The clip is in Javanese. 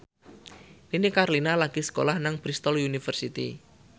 Nini Carlina lagi sekolah nang Bristol university